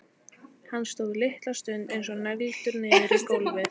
Hann stóð litla stund eins og negldur niður í gólfið.